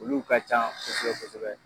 Olu ka ca kosɛbɛ kosɛbɛ